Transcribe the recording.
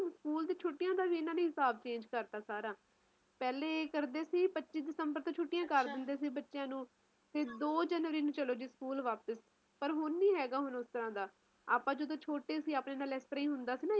school ਦੇ ਛੁੱਟੀਆਂ ਦਾ ਵੀ ਇੰਨਾ ਨੇ ਹਿਸਾਬ change ਕਰਤਾ ਸਾਰਾ ਪਹਿਲੇ ਕਰਦੇ ਸੀ ਪੱਚੀ ਦਸੰਬਰ ਨੂੰ ਛੁੱਟੀਆਂਕਰਦੇ ਸੀ ਬੱਚਿਆਂ ਨੂੰ ਤੇ ਦੋ ਜਨਵਰੀ ਨੂੰ ਚਲੋ ਜੀ ਸਕੂਲ ਵਾਪਸ ਪਰ ਹੁਣ ਨੀ ਹੇਗਾ ਹੁਣ ਉਸ ਤਰਾਂ ਦਾ ਆਪਾ ਜਦੋ ਛੋਟੇ ਸੀ ਆਪਣੇ ਨਾਲ ਏਸ ਤਰਾਂ ਹੀ ਹੁੰਦਾ ਸੀ ਨਾ